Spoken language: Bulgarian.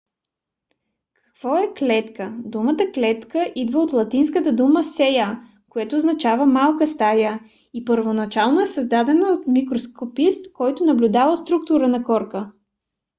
какво е клетка? думата клетка идва от латинската дума cella което означава малка стая и първоначално е създадена от микроскопист който наблюдавал структурата на корка